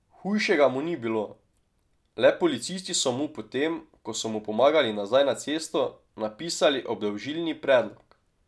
Hujšega mu ni bilo, le policisti so mu po tem, ko so mu pomagali nazaj na cesto, napisali obdolžilni predlog.